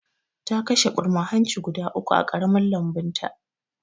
Ta kashe ɓurma hanci guda uku a ƙaramin lambunta jiya